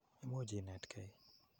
Imuch inetkei.